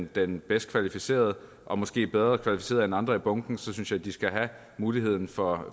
den bedst kvalificerede og måske bedre kvalificeret end andre i bunken så synes jeg at de skal have muligheden for